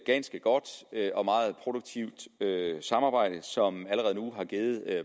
ganske godt og meget produktivt samarbejde som allerede nu har givet